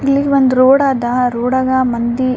ಇಲ್ಲಿ ಒಂದು ರೋಡ್ ಆದ ಆ ರೋಡ್ಗ ಮಂದಿ --